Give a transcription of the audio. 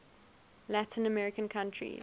latin american countries